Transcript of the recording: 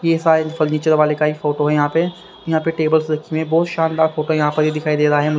यह शायद फर्नीचर वाले का ही फोटो है यहां पे यहां पे टेबल्स रखी हुई है बहुत शानदार फोटो यहां पर ये दिखाई दे रहा है।